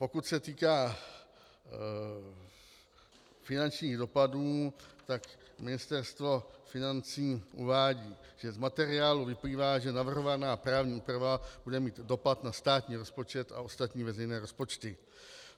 Pokud se týká finančních dopadů, tak Ministerstvo financí uvádí, že z materiálu vyplývá, že navrhovaná právní úprava bude mít dopad na státní rozpočet a ostatní veřejné rozpočty.